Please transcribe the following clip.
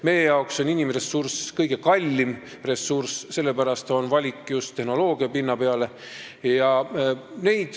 Meie jaoks on inimressurss kõige kallim ressurss, sellepärast oleme valinud just tehnoloogia tee.